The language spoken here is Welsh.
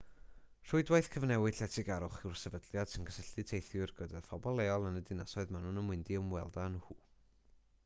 rhwydwaith cyfnewid lletygarwch yw'r sefydliad sy'n cysylltu teithwyr gyda phobl leol yn y dinasoedd maen nhw'n mynd i ymweld â nhw